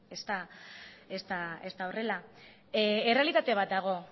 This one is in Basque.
ez da horrela errealitate bat dago